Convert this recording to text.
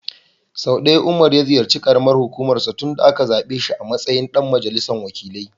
Sau ɗaya Umar ya ziyarci ƙaramar hukumar sa tun da aka zaɓe shi a matsayin ɗan majalisar wakilai.